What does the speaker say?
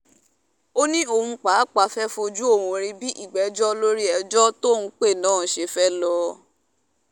ó ní òun pàápàá fẹ́ wàá fojú òun rí bí ìgbẹ́jọ́ lórí ẹjọ́ tóun pè náà ṣe fẹ́ẹ́ lọ́ọ́